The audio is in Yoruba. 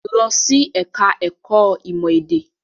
Lọ sí ẹ̀ka-ẹ̀kọ́ ìmọ̀-èdè!